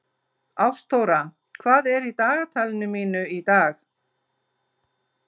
Ástþóra, hvað er í dagatalinu mínu í dag?